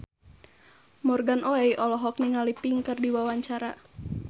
Morgan Oey olohok ningali Pink keur diwawancara